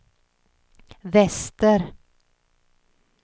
väster